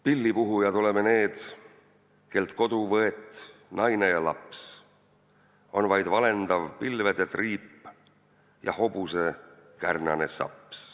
"Pillipuhujad oleme need, kellelt kodu võet, naine ja laps, on vaid valendav pilvede triip ja hobuse kärnane saps.